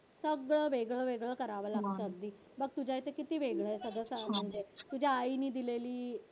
सगळं वेगवेगळं करावं लागतं अगदी. बघ तुझ्या इथं किती वेगळं आहे सगळं तुझ्या आईने दिलेली